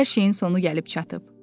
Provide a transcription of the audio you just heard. artıq hər şeyin sonu gəlib çatıb.